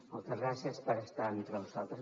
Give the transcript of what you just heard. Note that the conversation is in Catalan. moltes gràcies per estar entre nosaltres